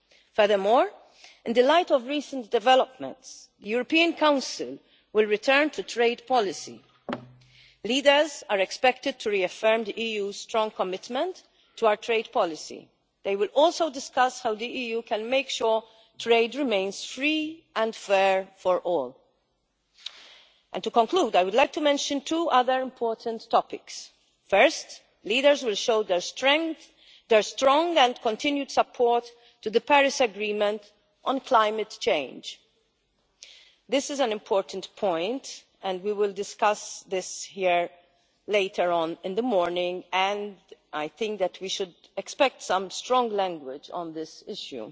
negotiations. Furthermore, in the light of recent developments, the European Council will return to trade policy. Leaders are expected to reaffirm the EU strong commitment to our trade policy. They will also discuss how the EU can make sure trade remains free and fair for all. To conclude, I would like to mention two other important topics. First, leaders will show their strong and continued support to the Paris Agreement on climate change. This is an important point, and we will discuss this here later on in the morning and I think that we should expect some strong language